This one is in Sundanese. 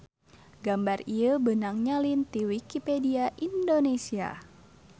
Gambar ieu beunang nyalin ti wiki indonesia